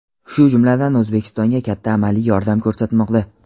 shu jumladan O‘zbekistonga katta amaliy yordam ko‘rsatmoqda.